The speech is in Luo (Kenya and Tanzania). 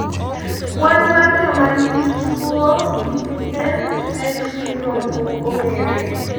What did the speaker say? kwan mar jomanigi tuwo PPM-X syndrome ok ong'ere